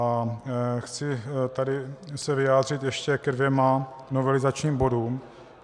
A chci se tady vyjádřit ještě ke dvěma novelizačním bodům.